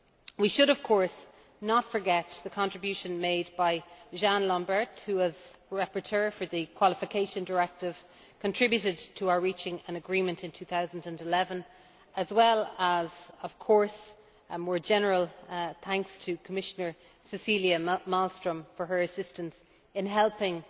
We should, of course, not forget the contribution made by Jean Lambert who, as the Rapporteur for the Qualification Directive, contributed to our reaching an agreement in 2011, and give more general thanks to Commissioner Cecilia Malmström for her assistance in helping